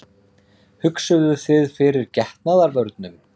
Hugsuðuð þið fyrir getnaðarvörnum?